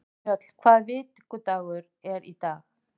Mjöll, hvaða vikudagur er í dag?